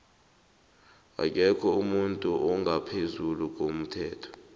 akekho umuntu ongaphezulu komthetho